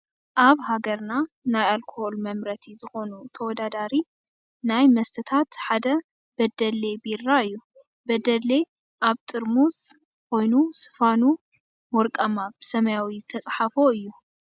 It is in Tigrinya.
ኣብ ሀገርና ናይ ኣልኮል መምረቲ ዝኮኑ ተወዳዳሪ ናይ መስተታት ሓደ በደሌ ቢራ እዩ። በደሌ ኣብ ጥርሙዝ ኮይኑ ስፋኑ ወርቃማ ብሰማያዊ ዝተፃሓፎ እዩ።